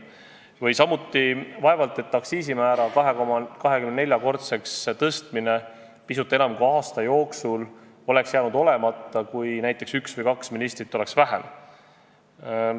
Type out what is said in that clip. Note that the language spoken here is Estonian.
Samuti, vaevalt et aktsiisimäära 2,24-kordseks tõstmine pisut enam kui aasta jooksul oleks jäänud olemata, kui üks või kaks ministrit oleks vähem.